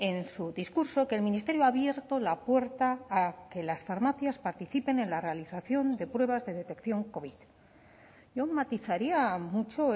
en su discurso que el ministerio ha abierto la puerta a que las farmacias participen en la realización de pruebas de detección covid yo matizaría mucho